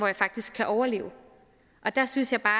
jeg faktisk kan overleve der synes jeg bare